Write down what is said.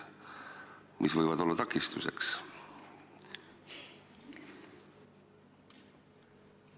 Mis võib olla takistuseks?